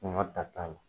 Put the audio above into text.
Kɔngɔ ta t'a la